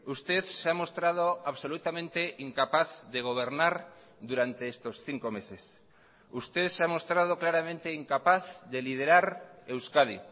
usted se ha mostrado absolutamente incapaz de gobernar durante estos cinco meses usted se ha mostrado claramente incapaz de liderar euskadi